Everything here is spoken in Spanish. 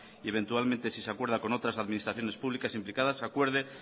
eventualmente si se acuerda con otras administraciones públicas implicadas se acuerde